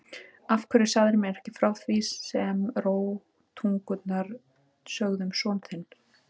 Af hverju sagðirðu mér ekki frá því sem rógtungurnar sögðu um son þinn?